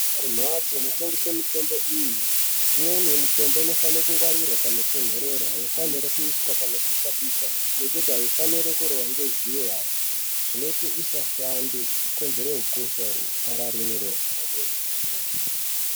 Kumbatso inotengesa mitombo iyi imweni mitombo inofano kungwarirwa panotondorera aifaniri kuiswa panopisha pisha ngekuti aifaniri kurohwa nezuwa zvinoita isashande kukonzera ukosha upararire.